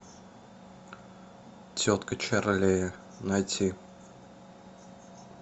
тетка чарлея найти